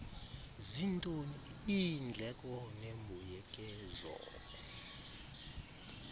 zintoni iindleko nembuyekezo